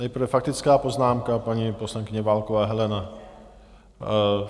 Nejprve faktická poznámka - paní poslankyně Válková Helena.